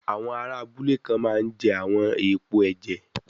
Àwọn ará abúlé kan máa ń jẹ àwọn èèpo ẹ̀jẹ̀